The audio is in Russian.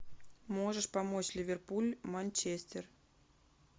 можешь помочь ливерпуль манчестер